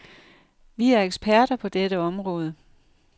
Vi er eksperter på dette område.